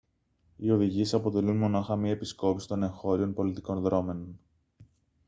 οι οδηγίες αποτελούν μονάχα μια επισκόπηση των εγχώριων πολιτικών δρώμενων